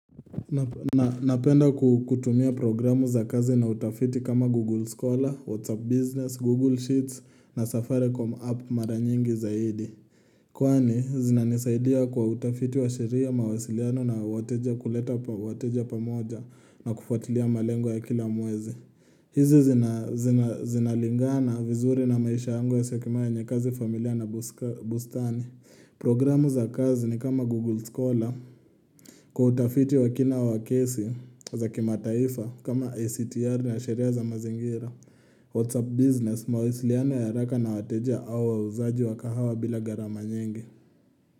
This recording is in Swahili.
Napenda kutumia programu za kazi na utafiti kama Google Scholar, WhatsApp Business, Google Sheets na Safaricom app mara nyingi zaidi. Kwani zinanisaidia kwa utafiti wa sheria, mawasiliano na wateja kuleta wateja pamoja na kufuatilia malengo ya kila mwezi. Hizi zinalingana vizuri na maisha yangu ya Syokimau yenye kazi, familia na bustani. Programu za kazi ni kama Google Scholar Kwa utafiti wa kina wa kesi za kimataifa kama ICTR na sheria za mazingira. Whatsapp Business mawisiliano ya haraka na wateja au wauzaji wa kahawa bila gharama nyingi.